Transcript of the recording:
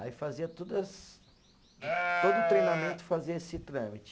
Aí fazia todas, to todo treinamento fazia esse trâmite.